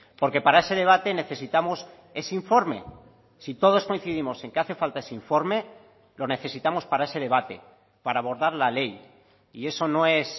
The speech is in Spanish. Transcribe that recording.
porque para ese debate necesitamos ese informe si todos coincidimos en que hace falta ese informe lo necesitamos para ese debate para abordar la ley y eso no es